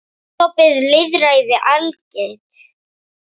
Er opið lýðræði algilt?